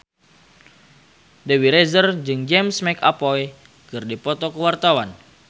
Dewi Rezer jeung James McAvoy keur dipoto ku wartawan